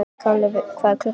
Kali, hvað er klukkan?